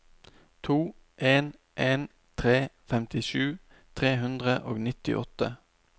to en en tre femtisju tre hundre og nittiåtte